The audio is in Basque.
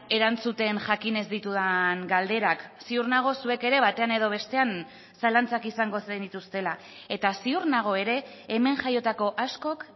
erantzuten jakin ez ditudan galderak ziur nago zuek ere batean edo bestean zalantzak izango zenituztela eta ziur nago ere hemen jaiotako askok